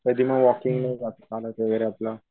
कधी मग वॉकिंगने जातो चालत वगैरे आपला.